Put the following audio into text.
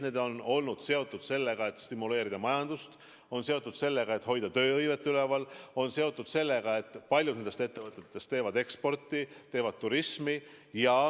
Need on olnud seotud sellega, et stimuleerida majandust ja hoida tööhõivet üleval, paljud nendest ettevõtetest tegelevad ekspordi ja turismiga.